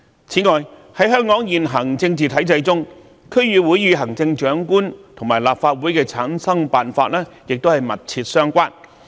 此外，在香港現行政治體制中，區議會與行政長官和立法會的產生辦法亦密切相關。